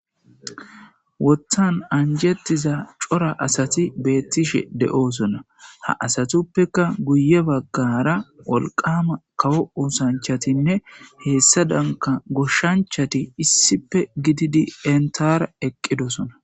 Wottan anjettiza cora asati beettishe de'oosona ha asatuppeka guye baggara wolqama kawo oosanchatinne heessadanka goshshanchati issipe gididi entara eqqidosona.